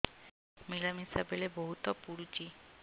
ମିଳାମିଶା ବେଳେ ବହୁତ ପୁଡୁଚି